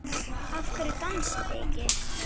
Af hverju dansið þið ekki?